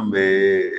An bɛ